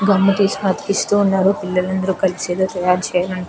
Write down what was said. gum తీసుకుని అతికిస్తూ ఉన్నారు పిల్లలందరు కలిసి ఏదో తయారు చేయల --